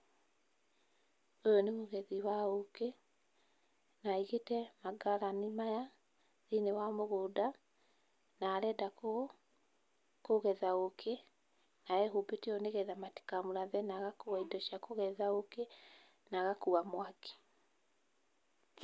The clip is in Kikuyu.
Ũyũ nĩ mũgethi wa ũkĩ na aĩgĩte mangarani maya thĩiniĩ wa mũgũnda na arenda kũgetha ũkĩ na ehumbĩte ũũ nĩ getha matikamũrathe na agakua indo cia kũgetha ũkĩ na agakua mwaki.